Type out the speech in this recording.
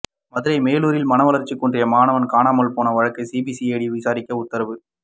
மதுரை மேலூரில் மனவளர்ச்சி குன்றிய மாணவன் காணாமல் போன வழக்கை சிபிசிஐடி விசாரிக்க உத்தரவு